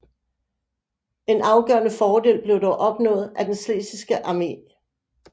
En afgørende fordel blev dog opnået af den schlesiske armé